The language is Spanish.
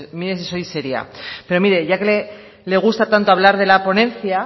mire si soy seria pero mire ya que le gusta tanto hablar de la ponencia